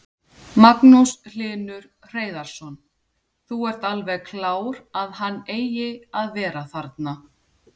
Magnús Hlynur Hreiðarsson: Þú ert alveg klár að hann eigi að vera þarna?